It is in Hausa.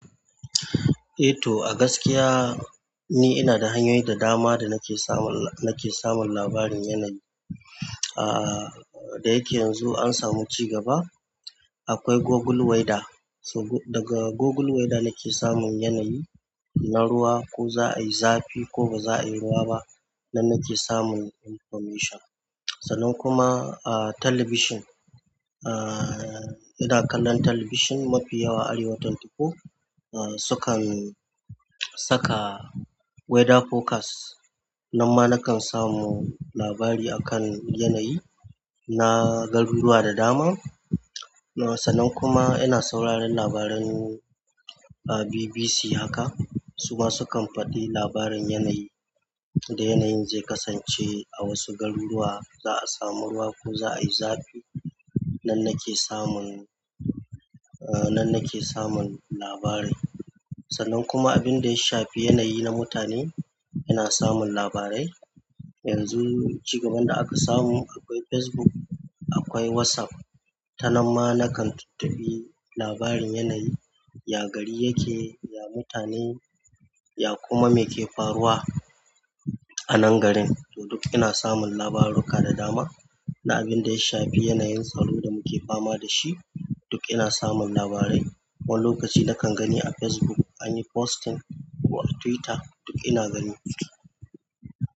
Eh to a gaskiya ni ina da hanyoyi da dama da nake samun, nake samun labarin yanayi. Ah, da yake yanzu an samu ci gaba, akwai Google Weather. So daga Google Weather nake samun yanayi na ruwa, ko za a yi zafi ko ba za a yi ruwa ba. Nan nake samun information. Sannan kuma, ah, talabijin. Ah, ina kallon talabijin mafi yawa Arewa24, ah, su kan saka weather forecast. Nan ma na kan samu labari a kan yanayi na garuruwa da dama. Sannan kuma ina sauraron labaran, ah, BBC haka. Su ma su kan faɗi labarin yanayi, da yanayin zai kasance a wasu garuruwa, za a samu ruwa ko za a yi zafi. Nan nake samun, ah, nan nake samun labari. Sannan kuma abin da ya shafi yanayi na mutane, ina samun labarai. Yanzu ci gaban da aka samu akwai Facebook, akwai WhatsApp. Ta nan ma na kan tuntuɓi labarin yanayi, ya gari yake, ya mutane, ya kuma me ke faruwa a nan garin. To duk ina samun labarurruka da dama. Na abin da ya shafi yanayin tsaro da muke fama da shi, duk ina samun labarai. Wani lokaci na kan gani a Facebook an yi posting ko a Twitter, duk ina gani.